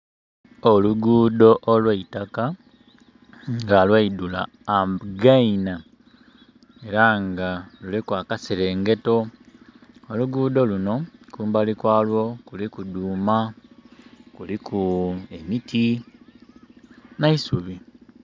Olugudho olwa itaka nga lwaidula againa, era nga luliku akaserengeto. Olugudho luno, kumbali kwalwo kuliku dhuuma, kuliku emiti neisubi.